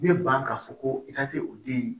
U bɛ ban k'a fɔ ko i ka kɛ u den ye